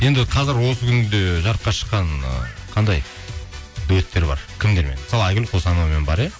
енді қазір осы күнде жарыққа шыққан ы қандай дуэттер бар кімдермен мысалы айгүл қосановамен бар иә